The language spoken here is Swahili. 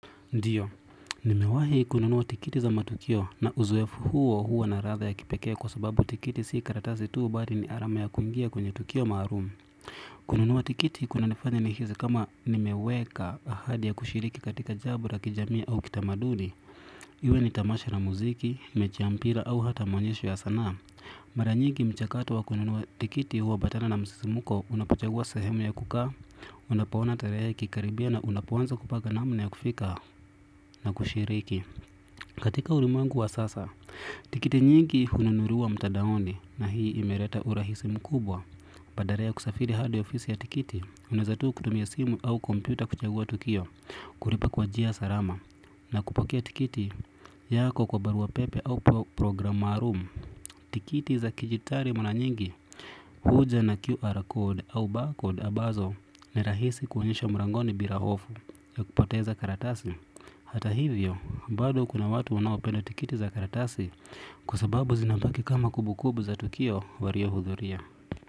Ndiyo, nimewahi kununua tikiti za matukio na uzoefu huo huo na radha ya kipekee kwa sababu tikiti sii karatazi tuu bari ni arama ya kuingia kwenye tukio maarumi. Kununua tikiti kunanifanya nihizi kama nimeweka ahadi ya kushiriki katika jabo ra kijamii au kitamaduni. Iwe ni tamasha na muziki, mechi ya mpira au hata maonyesho ya sanaa. Mara nyigi mchakato wa kununua tikiti hupatana na msisimuko unapachagua sahemu ya kukaa, unapoona tarahe ikikaribia na unapoanza kupanga namna ya kufika. Na kushiriki, katika ulimwengu wa sasa, tikiti nyingi hununuriwa mtadaoni na hii imereta urahisi mkubwa. Badara ya kusafiri hadi ofisi ya tikiti, unaeza tuu kutumia simu au kompyuta kuchagua tukio, kuripa kwa jia sarama. Na kupokea tikiti yako kwa barua pepe au program maarum. Tikiti za kijitari mara nyingi huja na QR code au barcode abazo ni rahisi kuonyesha mrangoni bira hofu ya kupoteza karatasi. Hata hivyo, bado kuna watu wanaopenda tikiti za karatasi kwa sababu zinabaki kama kubukubu za tukio wariohudhuria.